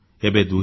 ଏବେ 2017